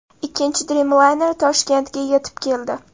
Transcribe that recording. Ikkinchi Dreamliner Toshkentga yetib keldi.